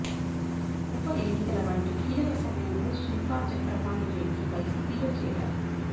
ఉప ఎన్నికల వంటి కీలక సమయంలో శిల్పా చక్రపాణి రెడ్డి వైసిపిలో చేరారు